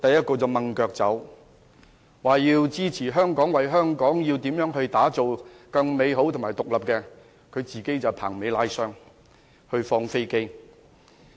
他們說要支持香港，為香港打造更美好和獨立的未來，自己卻"棚尾拉箱"、"放飛機"。